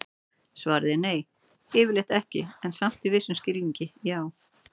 Svarið er nei, yfirleitt ekki, en samt í vissum skilningi já!